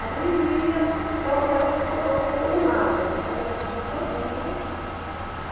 Ali ia... Então aquela ficou ficou uma imagem, aquela imagem todinha.